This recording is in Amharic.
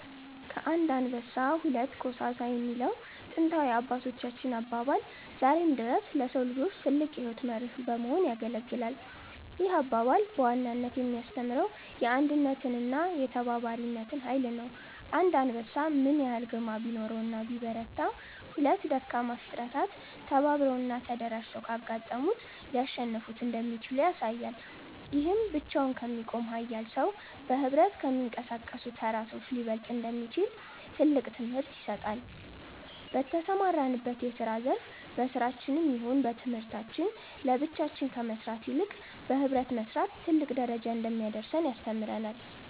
ከአንድ አንበሳ ሁለት ኮሳሳ የሚለው ጥንታዊ የአባቶቻችን አባባል ዛሬም ድረስ ለሰው ልጆች ትልቅ የሕይወት መርህ በመሆን ያገለግላል። ይህ አባባል በዋናነት የሚያስተምረው የአንድነትንና የተባባሪነትን ኃይል ነው። አንድ አንበሳ ምንም ያህል ግርማ ቢኖረውና ቢበረታ፤ ሁለት ደካማ ፍጥረታት ተባብረውና ተደራጅተው ካጋጠሙት ሊያሸንፉት እንደሚችሉ ያሳያል። ይህም ብቻውን ከሚቆም ኃያል ሰው፣ በኅብረት ከሚንቀሳቀሱ ተራ ሰዎች ሊበለጥ እንደሚችል ትልቅ ትምህርት ይሰጣል። በተሰማራንበት የስራ ዘርፍ በስራችንም ይሁን በትምህርታችን ለብቻችን ከመስራት ይበልጥ በህብረት መስራት ትልቅ ደረጃ እንደሚያደርሰን ያስተምረናል።